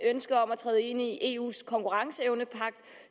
ønsket om at træde ind i eus konkurrenceevnepagt